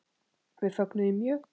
Við fögnum því mjög.